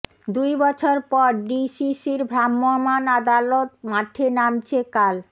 দুই বছর পর ডিসিসির ভ্রাম্যমান আদালত মাঠে নামছে কাল